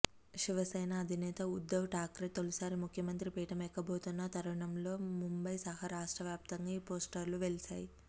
శివసేన అధినేత ఉద్దవ్ ఠాక్రే తొలిసారి ముఖ్యమంత్రి పీటం ఎక్కబోతున్న తరుణంలో ముంబైసహా రాష్ట్రవ్యాప్తంగా ఈ పోస్టర్లు వెలిశాయి